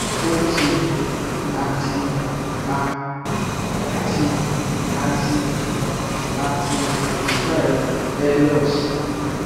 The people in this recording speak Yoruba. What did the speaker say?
o ti a ti a ti a ti a ti prescribed earelox